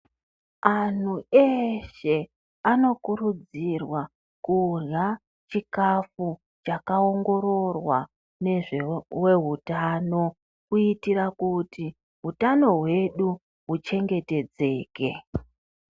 Anhu eshe, anokurudzirwa kudlya chikafu chaka ongororwa nezvevehutano, kuitira kuti, hutano hwedu huchengetedzeke.